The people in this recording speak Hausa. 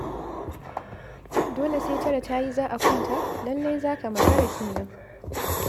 Dole sai tara ta yi za a kwanta? Lallai za ka makara kenan.